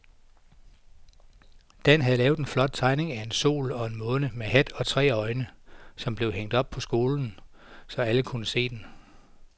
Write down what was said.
Dan havde lavet en flot tegning af en sol og en måne med hat og tre øjne, som blev hængt op i skolen, så alle kunne se den.